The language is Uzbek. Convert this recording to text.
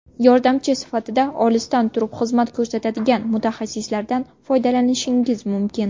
Yordamchi sifatida olisdan turib xizmat ko‘rsatadigan mutaxassislardan foydalanishingiz mumkin.